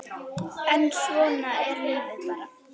En svona er lífið bara.